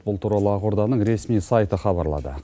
бұл туралы ақорданың ресми сайты хабарлады